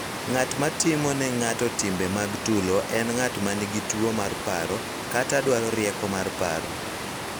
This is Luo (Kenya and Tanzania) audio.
Ng�at ma timo ne ng�ato timbe mag tulo en ng�at ma nigi tuwo mar paro kata dwaro rieko mar paro.